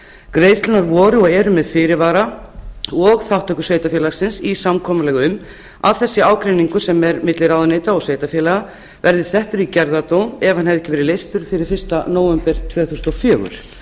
greiðslurnar voru og eru með fyrirvara og þátttöku sveitarfélagsins í samkomulagi um að þessi ágreiningur sem er milli ráðuneyta og sveitarfélaga verði settur í gerðardóm ef hann hefði ekki verið leystur fyrir fyrsta nóvember tvö þúsund og fjögur